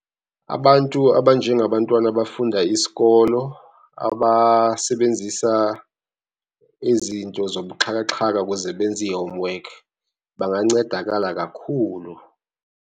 Abantu abanjengabantwana abafunda isikolo abasebenzisa ezinto zobuxhakaxhaka kuze benze ihomework bangancedakala kakhulu.